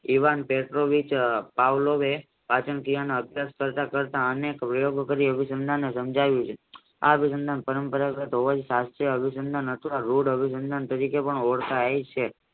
ઈવાન Petrovich પાવલાવે પાચન ક્રિયાના અનેક પ્રયોગો કરી સમજાવી શાસ્ત્રી અભિસંદન તરીકે ઓળખાય છે.